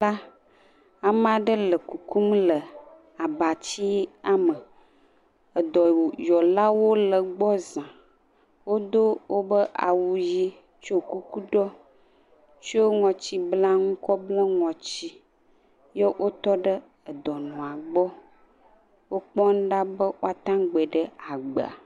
Ame aɖe le kuku le abatsia me. Edɔy ɔlawo le egbɔ zã. Wodo woƒe awu ɣi he tsɔ kuku ɖoe, tsɔ ŋɔti bla nu bla ŋɔti he tɔ ɖe dɔnɔa gbɔ. Wo kpɔm ɖa be woateŋu agbɔe ɖe agblea.